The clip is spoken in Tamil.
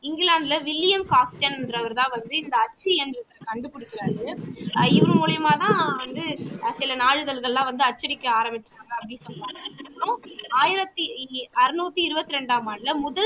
இங்கிலாந்துல வில்லியம் ஹாஸ்டன் என்றவரு தான் வந்து இந்த அச்சு என்றதை கண்டுபுடிக்கிறாரு அஹ் இவரு மூலியமா தான் வந்து சில நாளிதழ்கள் எல்லாம் வந்து அச்சடிக்க ஆரம்பிச்சாங்க அப்படி சொல்றாங்க அப்புறம் ஆயிரத்தி இ அறுநூத்தி இருபத்தி இரண்டாம் ஆண்டுல முதல்